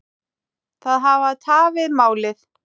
Það hafi tafið málið.